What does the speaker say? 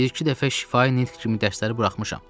bir-iki dəfə şifahi nitq kimi dərsləri buraxmışam.